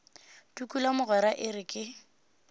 tukula mogwera e re ke